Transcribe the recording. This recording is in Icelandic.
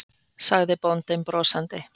sagði bóndinn brosandi.